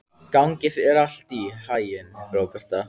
Gangi þér allt í haginn, Róberta.